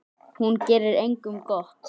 Hún gerir engum gott.